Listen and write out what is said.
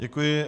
Děkuji.